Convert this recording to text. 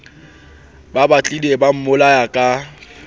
ba batlileng ba mmolaya ka